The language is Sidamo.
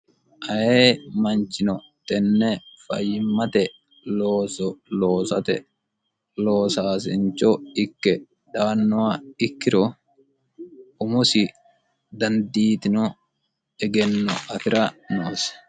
aye manchino tenne fayyimmate looso loosate loosaasincho ikke daannowa ikkiro umosi dandiitino egenno afira noosi